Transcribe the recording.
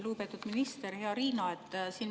Lugupeetud minister, hea Riina!